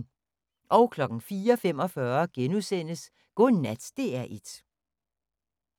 04:45: Godnat DR1 *